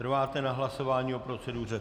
Trváte na hlasování o proceduře?